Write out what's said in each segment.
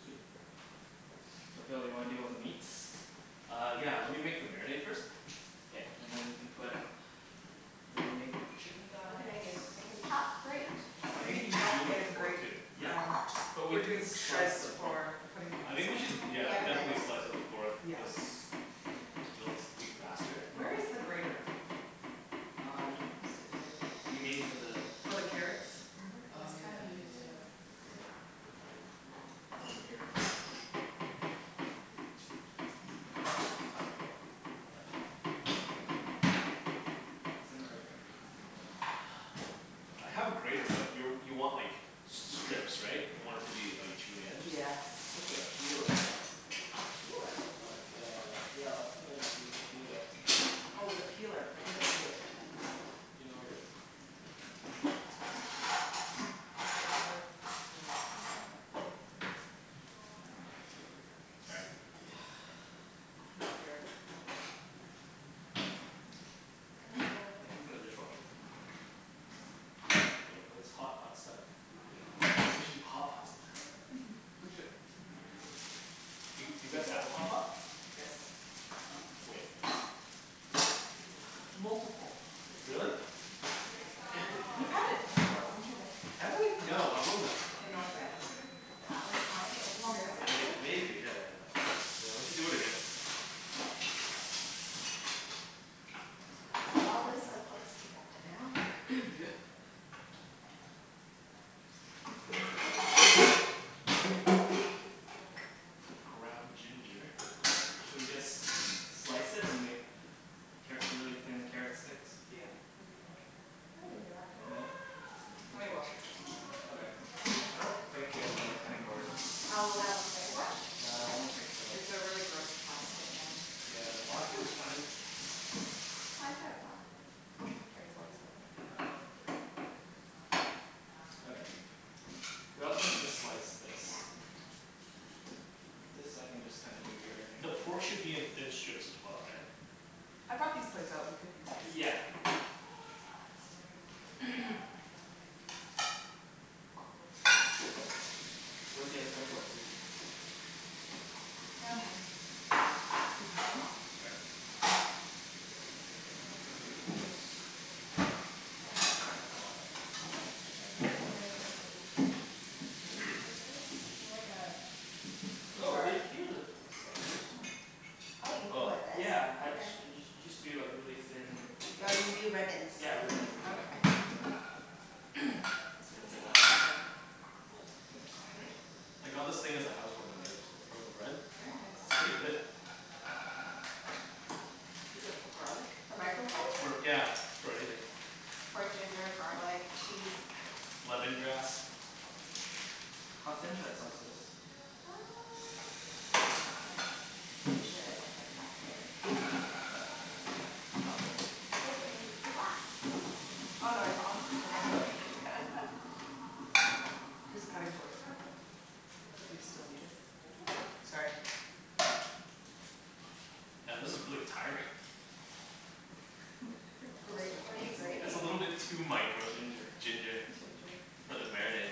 Sweet. So Phil do you wanna to deal with the meats? Uh, yeah. Lemme make the marinade first. K. And then we can put marinade with the chicken What can I thighs. do, I can chop, grate. I think we Maybe need chop do like a and pork grate too. Yeah. um just But we are maybe we can doing slice shreds the pork for putting in I the think we salad should bowl. yeah, definitely slice the pork Yes. cuz Hm That's faster. Where is the grater? Um, you mean for the For the carrots? Oh yeah yeah yeah yeah yeah. Um I think it's over here Isn't it right here? I have a grater but you you want like strips right? You want it to be like julienne? Just, Yeah. just like a peeler. A peeler? Cool. Uh, yeah. Often I just used a peeler. Oh the peeler, right. Do you know where it is? Excuse me Phil. Let's Sorry. see. Not here. Maybe it's in the dishwater. No, that's hotpots stuff. We should do hotpot some time. We should. We did. a hotpot? Yes. Multiple. Really? Mhm. We had it before, weren't you there? Have we? No, I wasn't. In North Van. That one time, like Long years time ago. ago? Maybe, yeah. Yeah we should do it again. We all live so close together now. Yeah. What does it look like? What is this? Ground ginger. Should we just slice it and make carrot really thin carrot sticks? Yeah, what do you think? We can do that, too. Yeah? Lemme Okay. wash it first. Oh there. I don't think we have another cutting board. one cutting board? Yeah I don't think so. It's a really gross plastic one. Okay. Yeah. We don't think you Plastic wanna is use fine. it. I could've brought cutting boards over. Okay. We also need to slice this. Yeah. This I can just kinda do it here I think. The pork should be in thin strips as well, right? I bought these plates so we could use this. Yeah. Where's the other cutting board, Susie? Excuse me Phil Sorry. uh, it's more of like Oh! There Here's the slicers, hm. Oh you peel Oh. with this? Yeah I just you just do like really thin. Yeah you do ribbons. Yeah, ribbons exactly. That's what I That's did the last proper time. term. Oh, it's fine, right? I got this thing as a house warming gift from a friend. Very nice It's pretty good. Is that for garlic? The It's microplate? for yeah, for everything. For ginger, garlic, cheese. Lemongrass. How thin should I slice this? Uh, like we should like that, Okay. right? Like that? Oh. Here's the cutting board, if you still need it. Sorry. Yeah this is really tiring. We could switch what are you It's over. a grating? little bit too micro Ginger. ginger. Ginger For the marinade.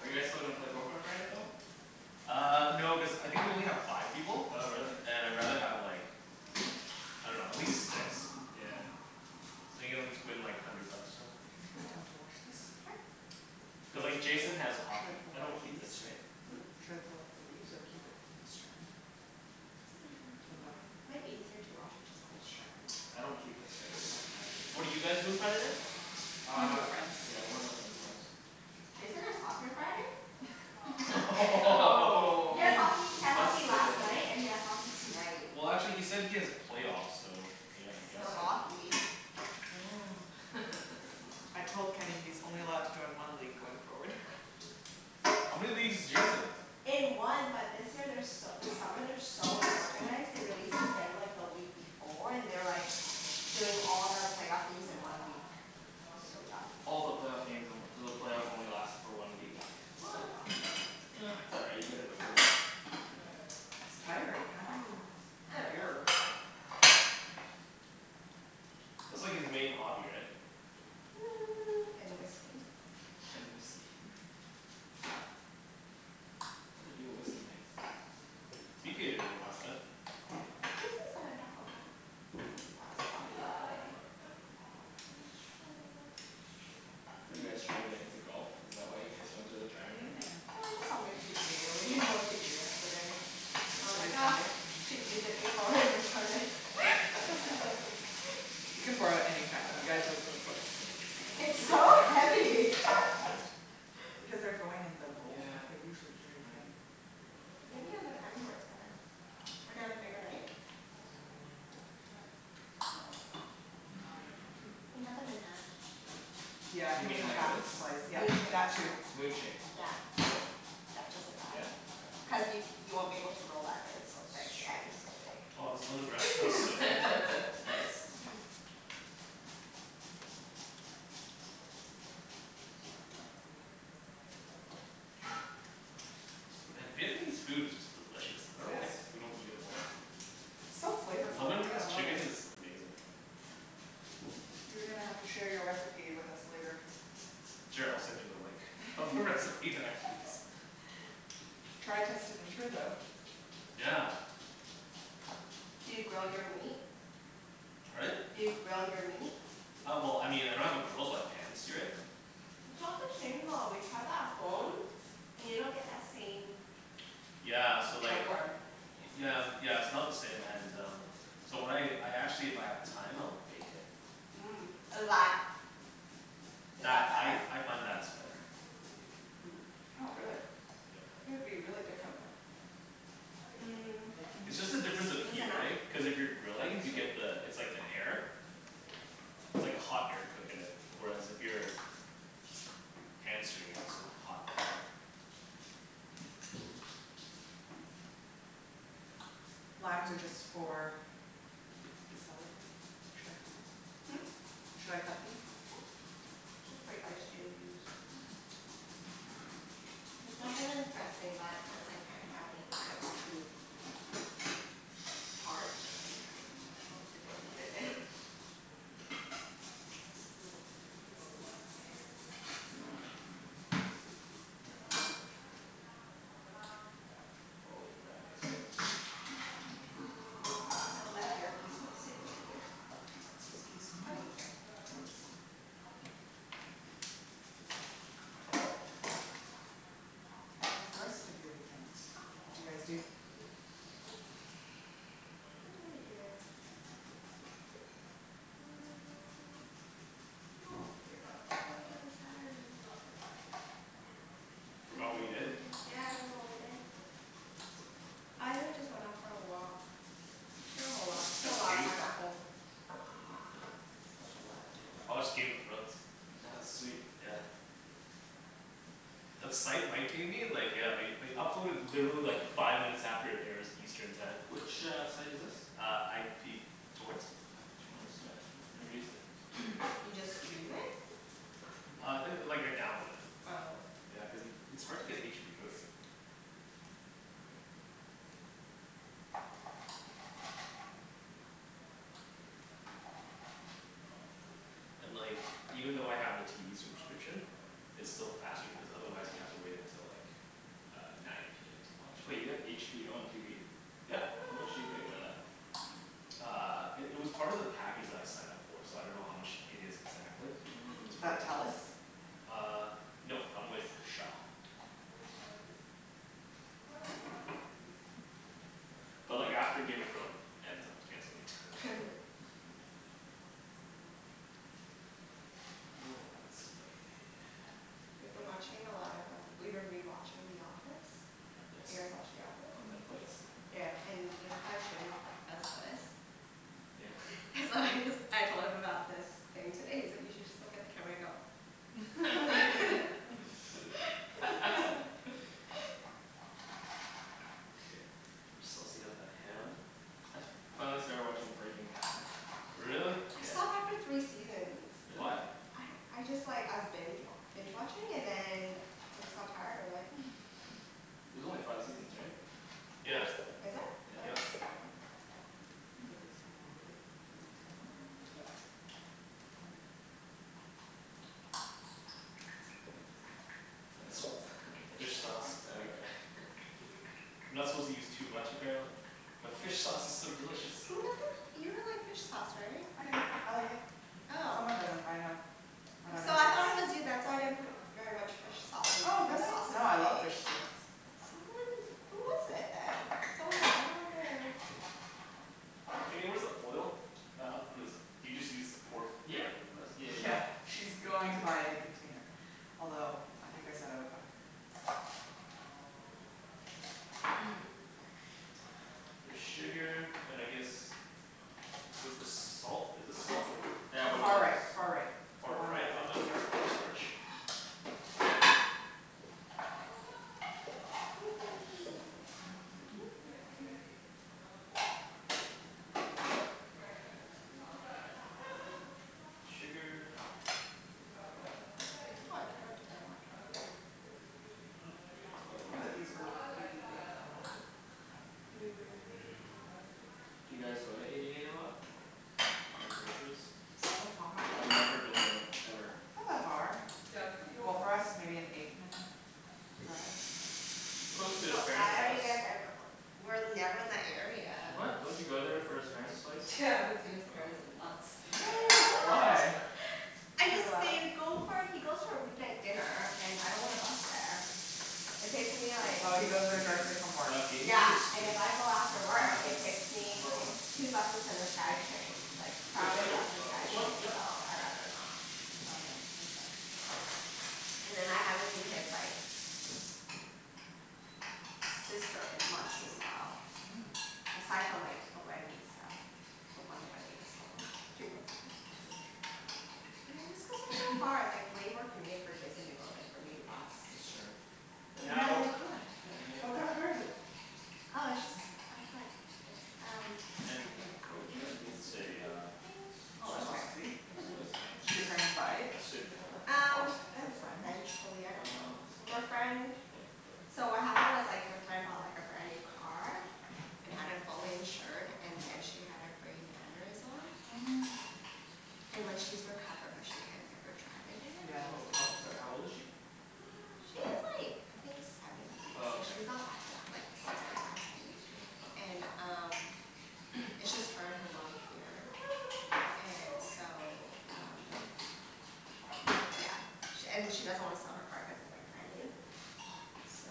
Are you guys still gonna play Poker on Friday, Phil? Uh, no cuz I think we only have five people. Oh really. And I rather have like, I dunno, at least six. Yeah. So play like hundred bucks or something. We can to wash this? Sure. Cuz like Jason has Should I hockey. pull I out the don't keep leaves? this right? Hm? Should I pull out the leaves or keep it in a strand? Doesn't matter. Up to Doesn't matter? you. Might be easier to wash it just on the strand. I don't keep this right? What did you guys do on Saturday? Went to Uh, a friends. yeah we were at friends house. Jason has hockey on Friday? Oh! He has hockey, he had hockey Busted. last night and he Oh! has hockey tonight. Well actually he said he has playoffs so, yeah I guess Still Alright. so. Um. hockey. Mm. I told Kenny he's only allowed to join one league going forward. How many leagues is Jason in? In one but this year they're so this summer they are so unorganized, they released the schedule like the week before, and they're like doing all the playoff games in one week. It's so dumb All the playoff games in one so the playoff only last for one week? Yeah, so dumb. Um it's alright, you get it over with. It's tiring, how do you I dunno. endure. That's like his main hobby right? Hmm and whiskey. And whiskey. We do a whiskey night. Jason's. Are you guys trying to get into golf? Is that why you guys went to the driving range? Yeah, Yeah. it's just something to do, we didn't know what to do yesterday. Well I Yesterday was thought Sunday? we should use it before we return it. You can borrow it anytime. You guys live so close. It's so Like heavy! this? Because they're growing in the bowls, Yeah. they're usually That's very thin. right. Maybe on the cutting board it's better. Or do you have a bigger knife? Mmm You can cut them in half. Yeah? Yeah You mean the like half this? slice yeah, Moon shape. that too. Moon shape. Yeah. Yeah just like Yeah? that. Okay. I'll do Cuz you that. you won't be able to roll that if it's so That's thick yeah it's so true. thick. Wow I was a little. Nice. And Vietnamese food is just delicious. I It dunno is. why we don't eat it more often. It's so flavorful, I Lemongrass love it. chicken is amazing. You're gonna have to share your recipe with us later. Sure, I'll send you the link. Try test it. Yeah. Do you grill your meat? Pardon? Do you grill your meat? Uh well I mean I don't have a grill but pan-sear it. It's not the same though, we tried that at home, and you don't get that same Yeah The so like charcoal? flavor Yeah, yeah it's not the same and um, so when I I actually if I have time I'll bake it. Mhm, is that is That, that I better? I find that's better. Hmm. Oh really? Yeah. Would be really different though. Mm. It's just the Is difference of this heat enough? right? Cuz if you're I grilling think you so. get the it's like the air. It's like hot air cookin it. Where as if you're pan-searing it, it's a hot pan. Limes are just for the salad bowl? Should I cut them? Hm? Should I cut these? Sure. Mhm. Cuz that kinda dressing but since I can't have anything that's too. put it in. All right. The left earpiece won't stay in my ear. Excuse me. Okay. How's the rest of your weekend? What d'you guys do? What did we do? Hmm. What did we do on Saturday? Forgot what you did? Yeah I don't remember what I did. I really just went out for a walk, spent a lot spent a lot of time at home. time I watched Game of at Thrones. home. That was sweet. Yeah. That site Mike gave me like yeah they they upload in literally like five minutes after it airs Eastern time. Which, uh, site is this? Uh, IP torrents. IP torrents? No, Yeah. no, never used it. You just stream it? Uh, it like I download it. Oh. Yeah, cuz it's hard to get HBO here. And like even though I have the TV subscription, it's still faster cuz otherwise you have to wait until like uh nine PM to watch Wait it. you have HBO on TV? Yeah. How much do you pay for that? Uh, it it was part of the package that I signed up for so I dunno how much it is exactly. It's Is Mmm. part of that the plan. Telus? Uh, no I'm with Shaw. But like after Game of Thrones ends, I'm canceling it. Oh, let's see We've been watching a lot of um, we've been rewatching The Office. Do you guys Nice. watch The Office? On Netflix? Yeah. Yeah, and you know how Jimmy g- does this? Yeah? So I just, I told him about this thing today, he's like, "You should just look at the camera and go" Okay. Saucing up the ham I finally started watching Breaking Bad Really? I Yeah. stopped after three seasons. Why? Really? I don't, I just like, I was binge wa- binge watching, and then I just got tired of it. There's only five seasons, right? Oops! Yeah. Is it? I thought it was Yep. seven. I'll put this all in one plate, with the mint and lime. Um. The It's hell is that f- fish sauce. Oh, okay. You're not supposed to use too much, apparently. But fish sauce is so delicious. Who doesn't, you don't like fish sauce, right? I do, I like it. Oh. Someone doesn't, I know. I dunno So I who it is. thought it was you. That's why I didn't put very much fish sauce in Oh the really? sauces No I I love made. fish sauce. Someone, who was it then? Someone was like, I don't like it. Kenny, where's the oil? Do you just use pour f- Yeah directly from this? yeah yeah. Yeah, she's going to buy a new container, although I think I said I would buy it for her. Bit of sugar, and I guess, where's the salt, is this salt? Yeah, one of Far those right far right, the Far one right? that's Oh on no, that's corn starch. Need sugar. Why I cannot take that Mhm. Yeah, it's quite a We can lot put these herby things on one plate. Maybe we don't need to put the turnip. Do you guys go to Eighty eight a lot? To buy groceries? So far. I've never been there, ever. It's not that far. Well, for us maybe an eight minute drive. It's close to his But parents' why are house. you guys ever- w- we're never in that area. What? Don't you go there for his parents' place? Yeah, I haven't seen his parents in months. Why? What? I You're just allowed didn't go for, he goes for a weeknight dinner, and I don't wanna bus there. It takes me like Oh he goes there directly from work. Uh, can you give me a Yeah, and spoon? if I go after Uh, work it's it takes that me far one two buses and the Skytrain, like No, just like crowded a, bus and uh this one? Skytrain, Yep. so I rather not. Oh yeah, makes sense. And then I haven't seen his like, sister in months as well Mm. Aside from like the wedding and stuff. The one wedding I saw them, a few months ago. I see. Yeah, it's cuz they're so far. It's like way more convenient for Jason to go than for me to bus. That's true. But But now you now have a car! Yeah, now you have a What kind car. of car is it? Oh, it's just our friend, it's um Ken, like an you- can I Audi get a SUV, uh I Oh soy that's sauce? think? fancy. Soy Did sauce? your parents buy it, I assume you have that? Um, off the friend? eventually, I Uh, dunno. this Their one? friend, Okay, so what perfect. happened was like their friend bought like a brand new car, and had it fully insured and then she had a brain aneurysm. Oh no. And like she's recovered but she can't ever drive again. Yeah that's Oh how, sorry, how old is she? She's like, I think seventy. Oh So okay. she's not that young, like sixty five, seventy? Yeah. And um, it's just her and her mom here, and so um yeah. She and she doesn't want to sell her car cuz it's like brand new. So.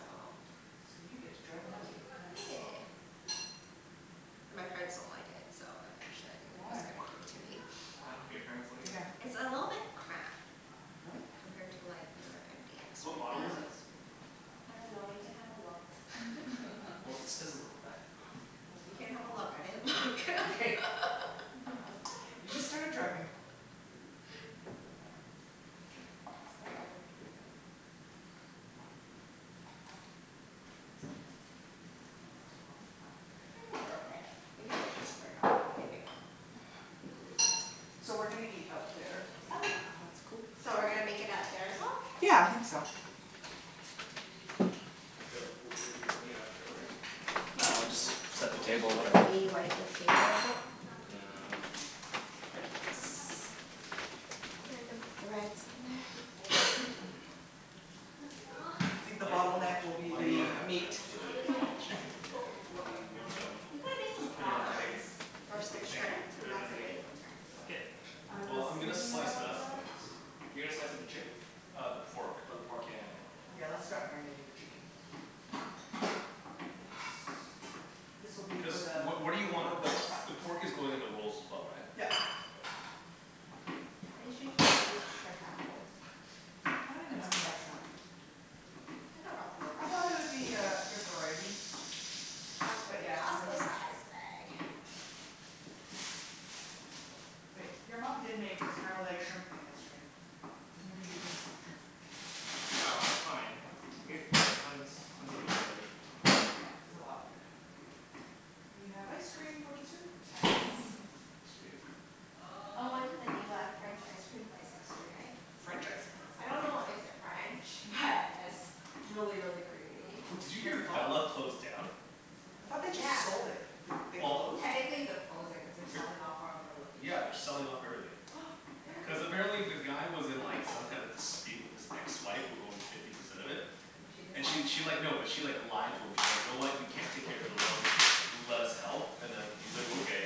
So you get to drive an Audi, nice. Yeah. And my parents don't like it so eventually I think they're Why? just gonna give it to me. Why don't your parents like it? Yeah. It's a little bit cramped. Really? Compared to like their MDX Yeah What right model is MDX it? now. is big. I dunno you can have a look Well, it says on the back of car. Well, you can have a look I didn't look Okay. You just started driving. So yeah. Ah these are fancy. Are these too long? Nope, I they're good. think they're okay. We can always just break up the bone when we make'em. Yeah. So we're gonna eat out there Okay. If that's cool? So we're gonna make it out there as well? Yeah, I think so. Wait, w- we're, you're bringing it out there already? Yo, Yeah, we'll do we just want, do we set the want the table, pork? whatever. Should we wipe the table a bit? Uh Yes. Random threads on there. I think the Might not, bottleneck will be Do you might need not the a have time meat. for the chicken, yeah. Do you wanna We could've made some just put it in a big, prawns or some big thing, right? shrimp, Put and it in a that's like big way quicker. bucket? I was Well, I'm gonna thinking slice it about up that. though. You're gonna slice up the chicken? Uh the pork. Oh the pork, yeah Yeah, yeah let's yeah. start marinating the chicken. This will be Cuz for the what, what do you want, paper the rolls. the pork is going in the rolls as well right? Yup. Okay. I usually just use shrimp at home. I don't even know if they have shrimp. I could've brought some over. I thought there would be a good variety. But yeah, no Costco shrimp. size bag. Wait, your mom did make a scrambled egg shrimp thing yesterday. Maybe we did have some shrimp. No, it's fine. We Okay. have, we got tons, tons of meat already. Yeah it's a lot of food. We have ice cream for dessert. Sweet. I went to the new uh, French ice cream place yesterday. French icecream, what's I that? dunno what makes it French, but it's really really creamy. Did you What's hear it called? Bella closed down? I thought they just Yeah. sold it. They they Well. closed? Technically they're closing cuz they're selling off four of their Yeah, they're locations. selling off everything. Yeah. No Cuz way. apparently the guy was in like some kind of dispute with his ex-wife who owned fifty percent of it. And she And she decides to she sell like, it? no, but she like, lied to him. She's like, "You know what, you can't take care of the it alone, let us help" and then he's like, "Okay."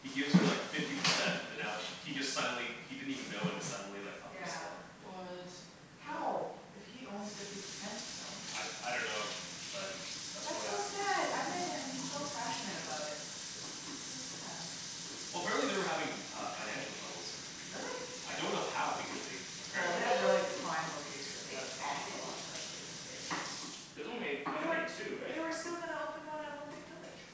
He gives her like fifty percent and then now sh- he just suddenly he didn't even know when it's suddenly like up for Yeah. sale. What? How! If he owns fifty percent still. I, I dunno, but that's what That's so happened. sad! I met him he's so passionate about it. That's sad. Well, apparently they were having uh financial troubles. Really? I don't know how because they Well they apparently Maybe have really prime locations they so it's cost a expanded too lot. quickly, too. There's only, how They were many, two, right? they were still gonna open one at Olympic village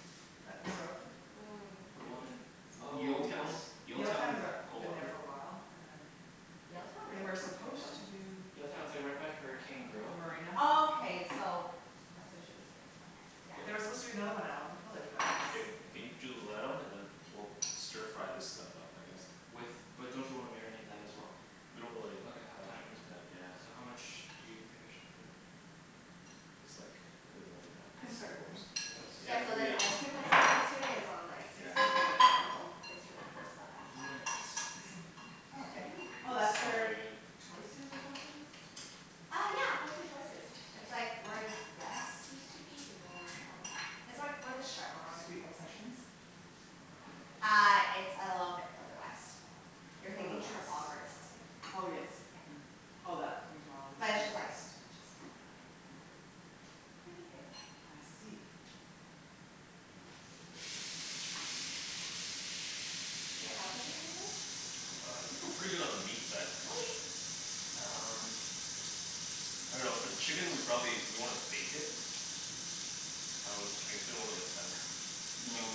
that never opened. Mm. The one in, oh yes Yaletown, Yaletown, Yaletown, they're, coal been there harbour. for a while and then Yaletown, They really? were supposed to do Yaletown, it's like right by Hurricane The Grill marina. Oh, okay so that's what she mean by it, okay, There were supposed to be yeah. another one out in Olympic Village but Ken, it can you drew the light on and then was we'll stir fry this stuff up I guess. With, but don't you wanna marinate that as well? We don't really Ok, have have that time right? much time yeah. So how much do you think I should put in? Just like a bit more than half, We can like three start grilling. quarters. Like Yeah, Yeah, so this this? ice let's cream keep place we it. went to yesterday is on like Yeah. sixteenth and Macdonald. It's really close by. Sixteenth avenue, oh okay. Oh It that's Mhm. smells where really good. Choices or something was? Uh yeah! Close to Choices. It's like where Zest used to be, you know where that is? It's where where the Chevron Sweet Obsessions? Uh, it's a little bit further west. You're Further thinking west. Trafalgar and sixteenth. Oh yes, mhm. Yeah. Oh that But to it's the just like, west. just. It's pretty good. I see. Can I help with anything? Uh, I think we're pretty good on the meat side. Okay! Um, I dunno for the chicken we probably, do we wanna bake it? I w- I guess we don't really have time.